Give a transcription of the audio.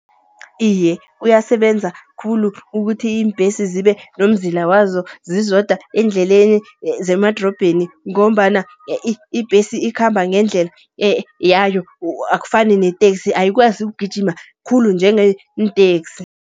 Iye, kuyasebenza khulu ukuthi, iimbesi zibe nomzila wazo zizodwa eendleleni zemadorobheni. Ngombana ibhesi ikhamba ngendlela yayo akufani neteksi, ayikwazi ukugijima khulu njengeenteksi.